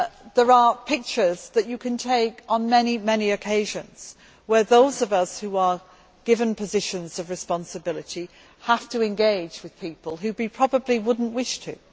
There are pictures that you can take on many occasions where those of us who are given positions of responsibility have to engage with people who we probably would not wish to.